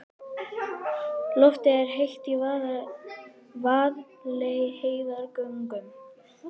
Loftið er heitt í Vaðlaheiðargöngum.